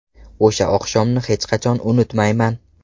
O‘sha oqshomni hech qachon unutmayman.